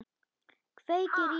Kveikir í henni.